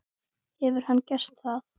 Hefur hann gert það?